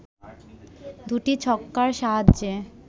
২টি ছক্কার সাহায্যে